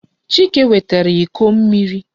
Chike wetara iko mmiri.